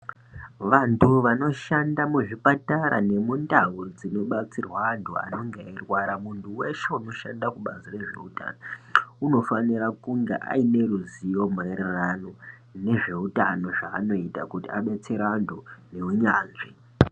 Vantu vanoshanda muzvipatara nemundau dzinobatsirwa antu vanonga eirwara. Munhu weshe unoshanda kubatsira zveutano. Unofanira kunge aine ruzivo maererano nezveutano zvaanoita kuti abetsere antu neunyanzvi.